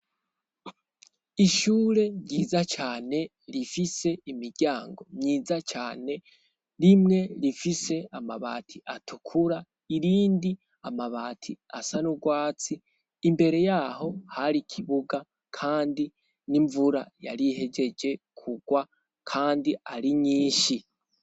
Ishure ryiza cane rifise imiryango myiza cane rimwe rifise amabati atukura irindi amabati asa n' ugwatsi imbere yaho hari ikibuga kandi n'imvura yarihejeje kugwa kandi ari nyinshi.